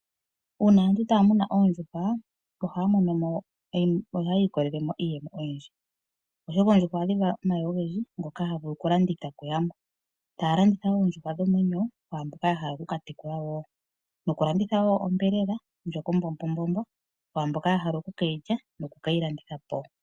Uuna aantu taya munu oondjuhwa ohaya ilikolelemo iiyemo oyindji , oshoka oondjuhwa ohadhi vala omayi ogendji ngoka haga vulu okulandithwa kuyamwe. Ohaya landitha oondjuhwa dhomwenyo kwaayehe yahala okukatekula wo nokukanditha oshiyelelwa shoka kwaamboka yahala okukeyi lya nokuyi landithapo.